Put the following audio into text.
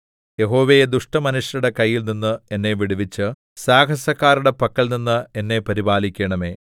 യഹോവേ ദുഷ്ടമനുഷ്യരുടെ കയ്യിൽനിന്ന് എന്നെ വിടുവിച്ച് സാഹസക്കാരുടെ പക്കൽനിന്ന് എന്നെ പരിപാലിക്കണമേ